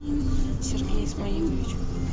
сергей исмаилович